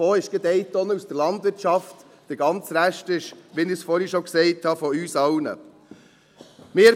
Davon ist gerade mal eine Tonne aus der Landwirtschaft, der ganze Rest ist, wie ich es vorhin schon gesagt habe, von uns allen.